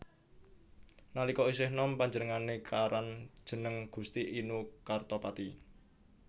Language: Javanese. Nalika isih nom panjenengane karan jeneng Gusti Inu Kartapati